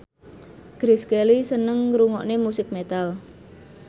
Grace Kelly seneng ngrungokne musik metal